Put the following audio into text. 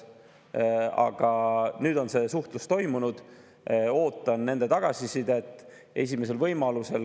Aga nüüd on see suhtlus toimunud, ootan nende tagasisidet esimesel võimalusel.